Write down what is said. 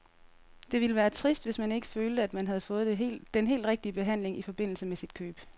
Det ville være trist, hvis man ikke følte, at man havde fået den helt rigtige behandling i forbindelse med sit køb.